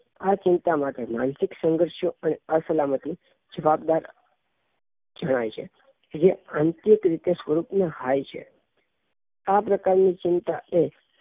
આ ચિંતા માટે માનસિક સંઘર્ષો અને અસલામતી જવાબદાર જણાઈ છે જે આંતરિક રીતે સ્વરૂપ ના હાય છે આ પ્રકાર ની ચિંતા એ